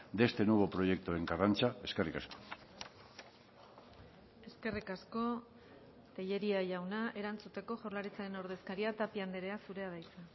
de este nuevo proyecto en karrantza eskerrik asko eskerrik asko tellería jauna erantzuteko jaurlaritzaren ordezkaria tapia andrea zurea da hitza